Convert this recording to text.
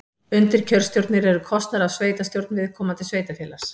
Undirkjörstjórnir eru kosnar af sveitastjórn viðkomandi sveitarfélags.